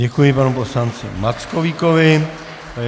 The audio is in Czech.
Děkuji panu poslanci Mackovíkovi.